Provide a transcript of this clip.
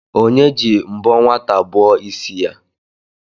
Onye ji mbọ nwata bọọ ịsị ya?